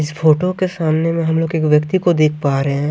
इस फोटो के सामने में हम लोग एक व्यक्ति को देख पा रहे--